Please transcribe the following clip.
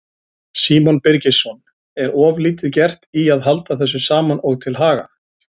Símon Birgisson: Er of lítið gert í að halda þessu saman og til haga?